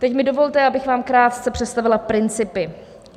Teď mi dovolte, abych vám krátce představila principy.